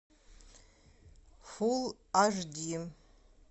фулл аш ди